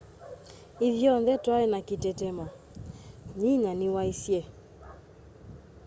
ithyonthe twai na kitetemo nyinya niwaisye